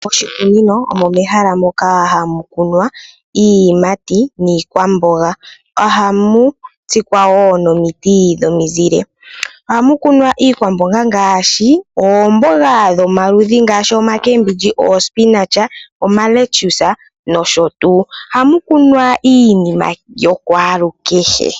Moshikunino omo mehala moka hamu kunwa iiyimati niikwamboga, ohamu tsikwa wo nomiti dhomizile. Ohamu kunwa iikwamboga ngaashi oomboga dhomaludhi ngaashi omakembindji, ohamu kunwa iinima yokwalukehe.